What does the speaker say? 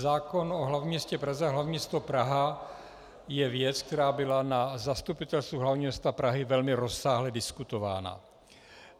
Zákon o hlavním městě Praze a hlavní město Praha je věc, která byla na Zastupitelstvu hlavního města Prahy velmi rozsáhle diskutována.